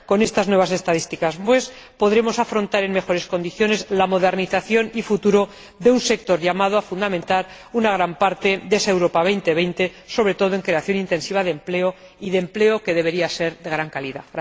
Con estas nuevas estadísticas, pues, podremos afrontar en mejores condiciones la modernización y el futuro de un sector llamado a fundamentar una gran parte de esa Europa 2020, sobre todo en creación intensiva de empleo, y de empleo que debería ser de gran calidad.